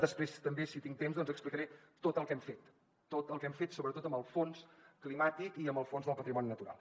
després també si tinc temps doncs explicaré tot el que hem fet sobretot amb el fons climàtic i amb el fons del patrimoni natural